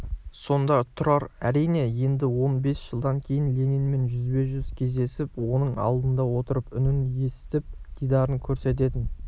сонда тұрар әрине енді он бес жылдан кейін ленинмен жүзбе-жүз кездесіп оның алдында отырып үнін есітіп дидарын көретінін